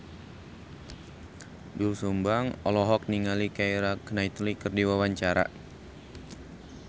Doel Sumbang olohok ningali Keira Knightley keur diwawancara